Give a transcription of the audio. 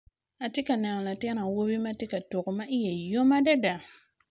Ati ka neno latin awobi ma ti ka tuku ma iye yom adada.